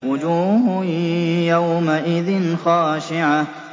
وُجُوهٌ يَوْمَئِذٍ خَاشِعَةٌ